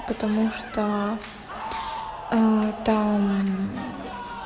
потому что эээ там